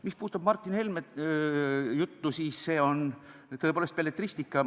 Mis puudutab Martin Helme juttu, siis see on tõepoolest belletristika.